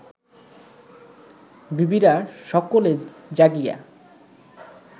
বিবিরা সকলে জাগিয়া